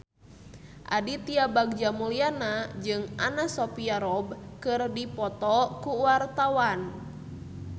Aditya Bagja Mulyana jeung Anna Sophia Robb keur dipoto ku wartawan